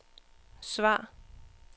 svar